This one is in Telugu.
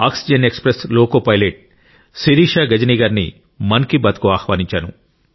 oxygen express loco pilot Shirisha Gajani గారిని మన్ కీ బాత్ కు ఆహ్వానించాను